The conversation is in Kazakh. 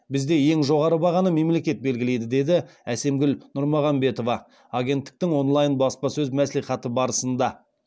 бізде ең жоғары бағаны мемлекет белгілейді деді әсемгүл нұрмағанбетова агенттіктің онлайн баспасөз мәслихаты барысында